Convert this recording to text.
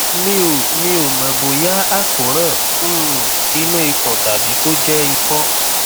mi ò mi ò mọ bóyá àkóràn um inú ikùn tàbí kó jẹ ikọ